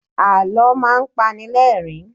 Àlọ́ máa ń pani lẹ́rìn-ín.